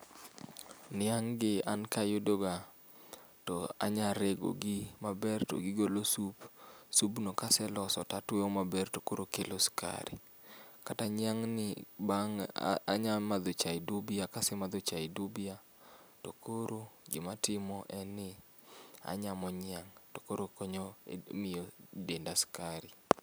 Niang'gi an kayudoga to anya regogi maber to gigolo sup. subno kaseloso to atwoyo maber tokoro kelo sukari. Kata niang'ni bang' a anya madho chai dubia kasemadho chai dubia tokoro gima atimo enni anyamo niang' tokoro konyo emiyo denda skari.